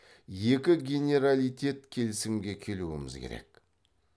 екі генералитет келісімге келуіміз керек